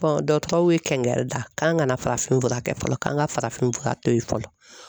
dɔtɔrɔw ye kɛnkɛrida k'an kana farafinfura kɛ fɔlɔ, k'an ka farafinfura to yen fɔlɔ.